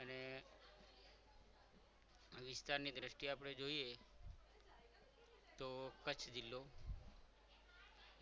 અને વિસ્તારની દ્રષ્ટિએ આપણે જોઈએ તો કચ્છ જિલ્લો